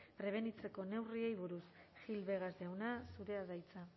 prebenitzeko neurriei buruz gil vegas jauna zurea da hitza